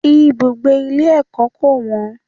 Ibùgbé ilé ẹ̀kọ́ kò wọ́n.